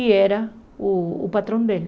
E era o o patrão dele.